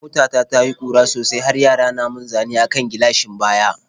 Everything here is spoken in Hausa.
Mota ta ta yi ƙura sosai har yara na mun zane a kan gilashin baya.